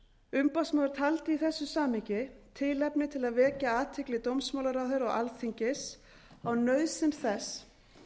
umboðsmaður taldi í þessu samhengi tilefni til að vekja athygli dómsmálaráðherra og alþingis á nauðsyn þess